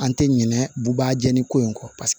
An tɛ ɲinɛ buba jɛnni ko in kɔ paseke